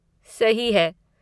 सही है।